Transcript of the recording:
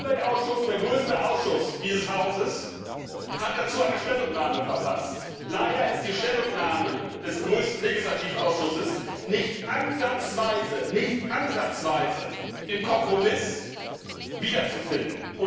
Der Umweltausschuss, der größte Ausschuss dieses Hauses, hat dazu eine Stellungnahme verfasst. Leider ist die Stellungnahme des größten Legislativausschusses nicht ansatzweise im Kompromiss wiederzufinden!